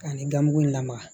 Ka ni gamugu in lamaga